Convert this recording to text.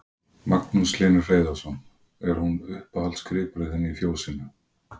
Magnús Hlynur Hreiðarsson: Er hún uppáhaldsgripurinn þinn í fjósinu?